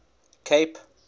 cape